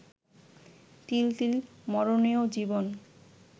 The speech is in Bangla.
তিল তিল মরণেও জীবন